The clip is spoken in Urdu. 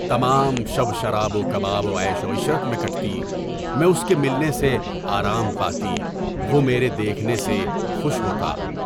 تمام شب شراب و کباب وعیش و عشرت میں گزرتی، میں اس کے ملنے سے آرام پاتا، وہ میرے دیکھنے سے خوش ہوتا۔